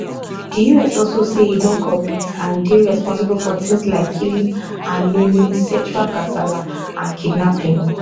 di us also say e don commit and dey responsible for tins like killing and maiming sexual kasala and kidnapping